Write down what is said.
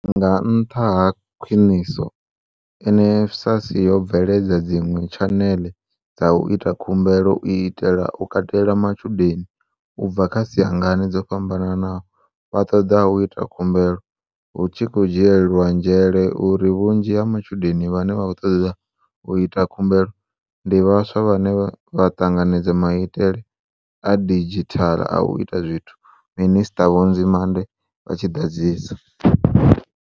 Nga nṱha ha khwiniso, NSFAS yo bveledza dziṅwe tshanele dza u ita khumbelo u itela u katela matshudeni u bva kha siangane dzo fhambanaho vha ṱoḓaho u ita khumbelo, hu tshi khou dzhielwa nzhele uri vhunzhi ha matshudeni vhane vha khou ṱoḓa u ita khumbelo ndi vhaswa vhane vha ṱanganedza maitele a didzhithala a u ita zwithu, Minisṱa Vho Nzimande vha tshi ḓadzisa.